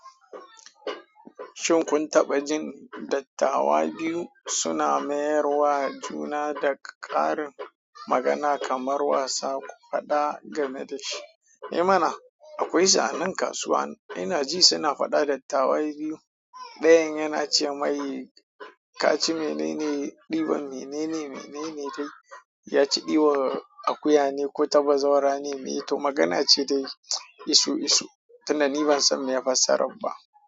Shin kun taɓa jin dattawa biyu suna mayarwa juna da ƙarin magana kamar wasa, ku faɗa game da shi? Eh mana, akwai su a nan kasuwa ina ji suna faɗa dattawa biyu. Ɗayan yana ce mai ka ci menene? Ɗiban menene? Menene dai ya ci ɗiban akuya ne ko ta ɓazawara ne? To magana ce dai isu isu tun da ni ban san meye fassarar ba.